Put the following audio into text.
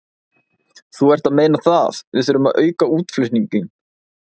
Þú ert að meina það, við þurfum að auka útflutninginn?